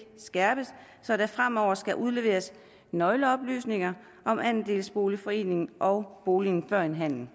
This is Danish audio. skærpes så der fremover skal udleveres nøgleoplysninger om andelsboligforeningen og boligen før en handel